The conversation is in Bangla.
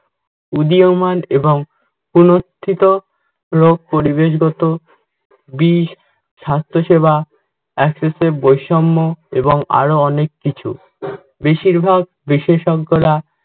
উদীয়মান এবং পুনথিত রোগ, পরিবেশগত বেশ, স্বাস্থ্যসেবা, বৈষম্য এবং আরও অনেক কিছু। বেশিরভাগ বিশেষজ্ঞরা